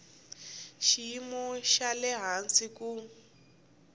xiyimo xa le hansi ku